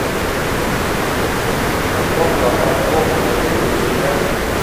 подробно о парковке в отеле и рядом с ним